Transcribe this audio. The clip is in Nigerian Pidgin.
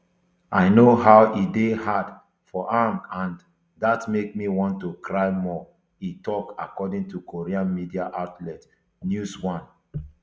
i know how e dey hard for am and dat make me want to cry more e tok according to korean media outlet newsone